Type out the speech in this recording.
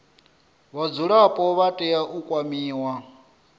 vhadzulapo vha tea u kwamiwa